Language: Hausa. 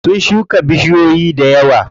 Sun shuka bishiyoyi dayawa.